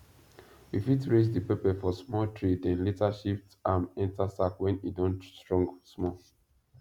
we first raise the pepper for small tray then later shift am enter sack when e don strong small